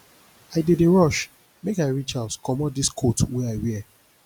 i dey dey rush make i reach house comot dis coat wey i wear